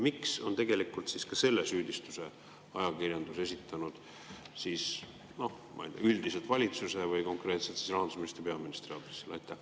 Miks on ajakirjandus selle süüdistuse esitanud üldiselt valitsuse või konkreetselt rahandusministri ja peaministri aadressil?